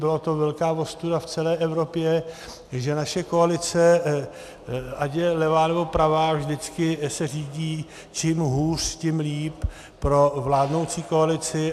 Byla to velká ostuda v celé Evropě, že naše koalice, ať je levá, nebo pravá, vždycky se řídí: čím hůř, tím líp pro vládnoucí koalici.